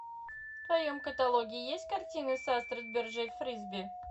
в твоем каталоге есть картины с астрид берже фрисби